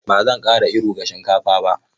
Ba zan ƙara iru ga shinkafa ba.